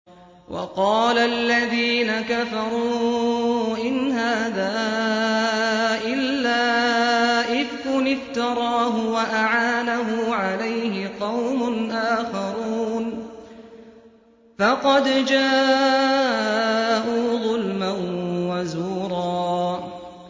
وَقَالَ الَّذِينَ كَفَرُوا إِنْ هَٰذَا إِلَّا إِفْكٌ افْتَرَاهُ وَأَعَانَهُ عَلَيْهِ قَوْمٌ آخَرُونَ ۖ فَقَدْ جَاءُوا ظُلْمًا وَزُورًا